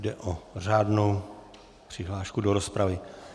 Jde o řádnou přihlášku do rozpravy.